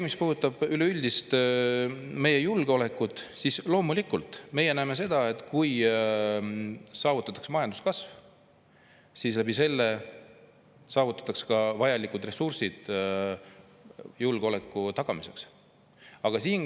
Mis puudutab meie üleüldist julgeolekut, siis me näeme, et kui saavutatakse majanduskasv, siis seeläbi loomulikult ka julgeoleku tagamiseks vajalikud ressursid.